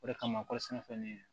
O de kama kɔɔri sɛnɛfɛn